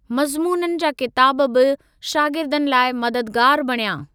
मज़्मूननि जा किताब बि शाग़िर्दनि लाइ मददगारु बणिया।